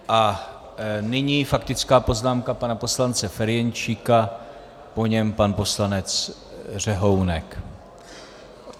A nyní faktická poznámka pana poslance Ferjenčíka, po něm pan poslanec Řehounek.